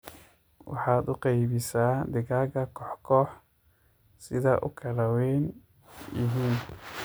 Waxaad uu qeybisaa digaaga koox koox sidhaa ukala weyn yihiin.